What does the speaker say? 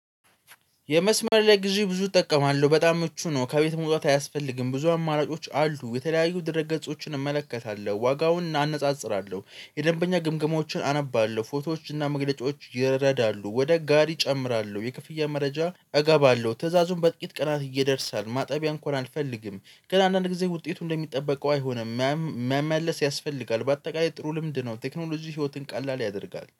የመስመር ላይ ግዢ ብዙ እጠቀማለሁ በጣም ምቹ ነው ከቤት መውጣት አያስፈልግም ብዙ አማራጮች አሉ የተለያዩ ድረ-ገጾችን እመለከታለሁ ዋጋውን አናነጻጽራለሁ የደንበኛ ግምገማዎችን አነባለሁ ፎቶዎች እና መግለጫዎች ይረዳሉ ወደ ጋሪ እጨምራለሁ የክፍያ መረጃ እገባለሁ ትዕዛዙን በጥቂት ቀናት ይደርሳል ማጠቢያ እንኳን አልፈልግም ግን አንዳንድ ጊዜ ውጤቱ እንደሚጠበቀው አይሆንም መመለስ ያስፈልጋል በአጠቃላይ ጥሩ ልምድ ነው። ቴክኖሎጂ ህይወትን ቀላል ያደርጋል።